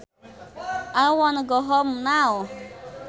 I wanna go home now